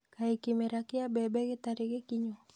Kaĩ kĩmera kĩa mbembe gĩtarĩ gĩkinyu?